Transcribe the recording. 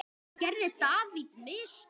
Gerði David mistök?